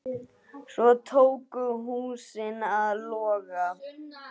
Svo tóku húsin að loga.